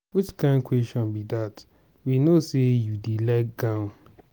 which kin question be dat. we no say you dey like gown.